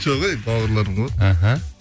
жоқ әй бауырларым ғой іхі